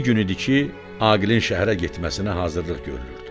İki gün idi ki, Aqilin şəhərə getməsinə hazırlıq görülürdü.